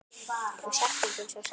Þau sakna þín svo sárt.